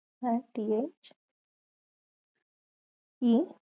হ্যাঁ t h e